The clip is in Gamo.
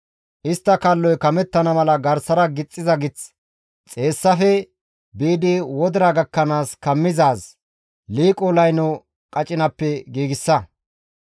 Istta kalloy kamettana mala garsara gixxiza gith, xeessaafe biidi wodira gakkanaas kammizaaz, liiqo layno qacinappe giigsa.